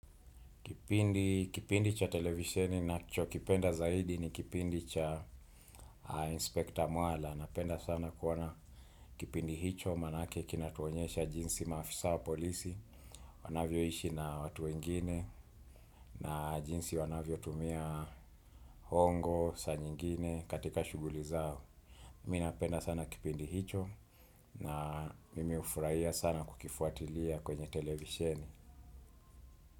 Kipindi cha televisheni nachokipenda zaidi ni kipindi cha inspekta mwala. Napenda sana kuona kipindi hicho manake kinatuonyesha jinsi maafisa wa polisi, wanavyoishi na watu wengine na jinsi wanavyotumia hongo, saa nyingine katika shughuli zao. Mi napenda sana kipindi hicho na mimi hufurahia sana kukifuatilia kwenye televisheni.